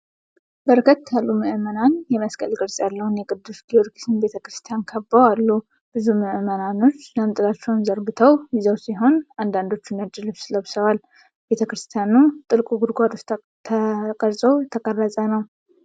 በርከት ያሉ ምዕመናን የመስቀል ቅርፅ ያለውን የቅዱስ ጊዮርጊስ ቤተ ክርስቲያን ከበው አሉ። ብዙዎቹ ምዕመናን ጃንጥላዎቻቸውን ዘርግተው ይዘው ሲሆን፣ አንዳንዶቹ ነጭ ልብስ ለብሰዋል። ቤተ ክርስቲያኑ ጥልቅ ጉድጓድ ውስጥ ተቀርጾ የተቀረጸ ነው።